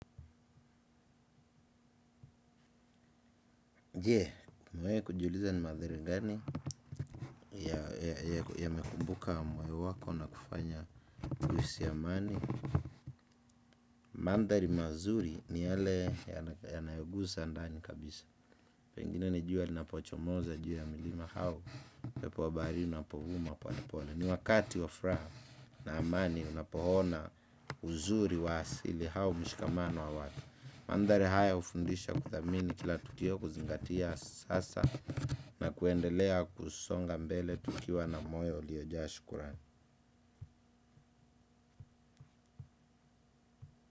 Je, umewahi kujiuliza ni madhara gani yamekumbuka mwoyo wako na kufanya uhisi amani mandhari mazuri ni yale yanayoguza ndani kabisa pengine ni jua linapochomoza, juu ya mlima hao pepo wa bahari unapovuma pole pole ni wakati wa furaha na amani unapoona uzuri wa asili hao mishikamano wa watu. Mandari haya hufundisha kuthamini kila tutio kuzingatia sasa na kuendelea kusonga mbele tukiwa na moyo uliojaa shukrani.